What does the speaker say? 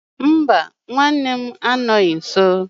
Mba, nwanne m anọghị nso.